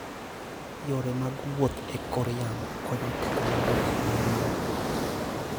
Yore mag wuoth e kor yamo konyo teknoloji manyien.